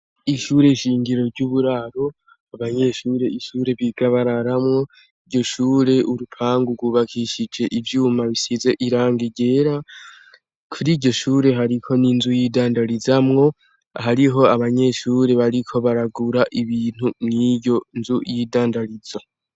Ishure shingiro ry'uburaro abanyeshure ishure biga bararamwo iryo shure urupangu rwubakishije ivyuma bisize irangi ryera kuri iryo shure hariko n'inzu y'idandarizo hariho abanyeshure bariko baragura ibintu mw'iyo nzu y'idandarizo.